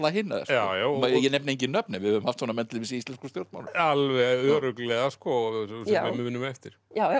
hina ég nefni engin nöfn en við höfum haft svona menn til dæmis í íslenskum stjórnmálum alveg örugglega sko sem við munum eftir